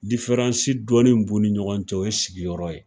dɔɔnin mun b'u ni ɲɔgɔn cɛ o ye sigiyɔrɔ ye